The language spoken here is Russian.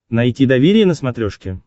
найти доверие на смотрешке